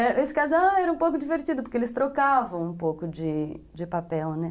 Esse casal era um pouco divertido, porque eles trocavam um pouco de de papel, né?